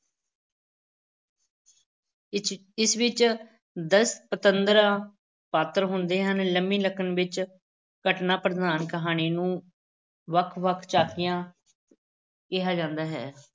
ਇਸ ਇਸ ਵਿੱਚ ਦਸ-ਪੰਦਰਾਂ ਪਾਤਰ ਹੁੰਦੇ ਹਨ, ਲੰਮੀ ਨਕਲ ਵਿੱਚ ਘਟਨਾ ਪ੍ਰਧਾਨ ਕਹਾਣੀ ਨੂੰ ਵੱਖ-ਵੱਖ ਝਾਕੀਆਂ ਕਿਹਾ ਜਾਂਦਾ ਹੈ।